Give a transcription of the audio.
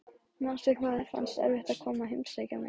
Manstu hvað þér fannst erfitt að koma að heimsækja mig?